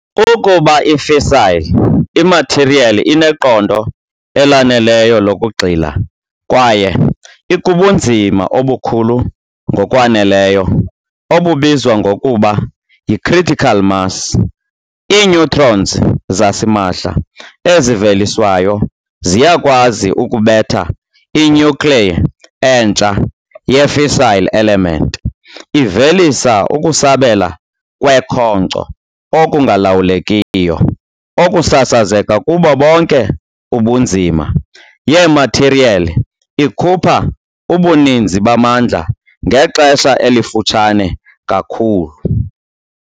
Ukuba i-fissile imathiriyeli ineqondo elaneleyo lokugxila kwaye ikubunzima obukhulu ngokwaneleyo, obubizwa ngokuba "yi-critical mass", i-neutrons zasimahla eziveliswayo ziyakwazi ukubetha i-nuclei entsha ye-fissile element, ivelisa ukusabela kwekhonkco "okungalawulekiyo" okusasazeka kubo bonke ubunzima. yemathiriyeli, ikhupha ubuninzi bamandla ngexesha elifutshane kakhulu.